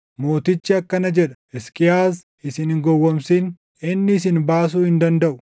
Mootichi akkana jedha: Hisqiyaas isin hin gowwoomsin. Inni isin baasuu hin dandaʼu!